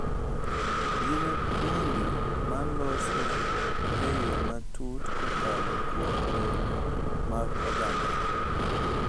Gin thwondi ma loso e yo matut kokalo kuom lewni mag ogandawa,